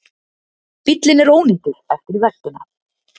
Bíllinn er ónýtur eftir veltuna